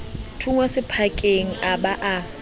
thunngwa sephakeng a ba a